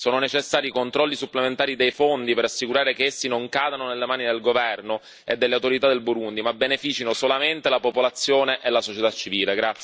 sono necessari controlli supplementari dei fondi, per assicurare che essi non cadano nelle mani del governo e delle autorità del Burundi ma avvantaggino solamente la popolazione e la società civile.